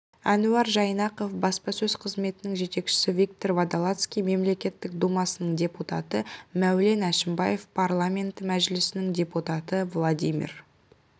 әнуар жайнақов баспасөз қызметінің жетекшісі виктор водолацкий мемлекеттік думасының депутаты мәулен әшімбаев парламенті мәжілісінің депутаты владимир